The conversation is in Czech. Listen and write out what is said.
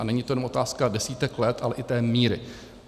A není to jenom otázka desítek let, ale i té míry.